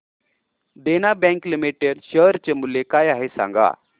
देना bank limited share चे मूल्य काय आहे हे सांगा